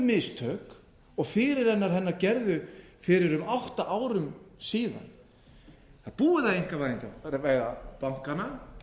mistök og fyrirrennarar hennar gerðu fyrir um átta árum síðan það er búið að einkavæða bankana við